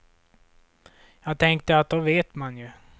Jag tänkte att då vet man ju.